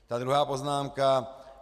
Ta druhá poznámka.